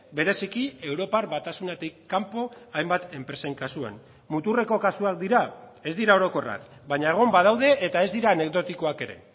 bereziki europar batasunetik kanpo hainbat enpresen kasuan muturreko kasuak dira ez dira orokorrak baina egon badaude eta ez dira anekdotikoak ere